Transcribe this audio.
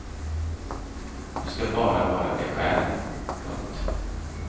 Du ska bara vara dig själv. punkt